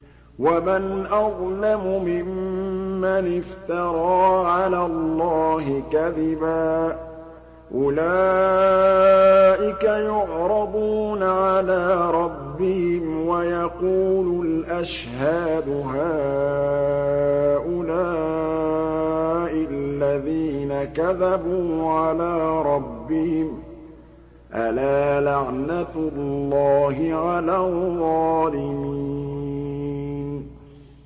وَمَنْ أَظْلَمُ مِمَّنِ افْتَرَىٰ عَلَى اللَّهِ كَذِبًا ۚ أُولَٰئِكَ يُعْرَضُونَ عَلَىٰ رَبِّهِمْ وَيَقُولُ الْأَشْهَادُ هَٰؤُلَاءِ الَّذِينَ كَذَبُوا عَلَىٰ رَبِّهِمْ ۚ أَلَا لَعْنَةُ اللَّهِ عَلَى الظَّالِمِينَ